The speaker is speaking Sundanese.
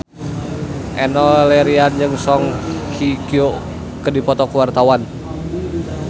Enno Lerian jeung Song Hye Kyo keur dipoto ku wartawan